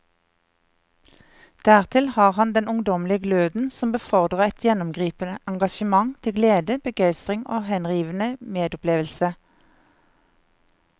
Dertil har han den ungdommelige gløden som befordrer et gjennomgripende engasjement til glede, begeistring og henrivende medopplevelse.